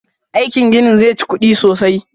Aikin ginin zai chi kuɗi sosai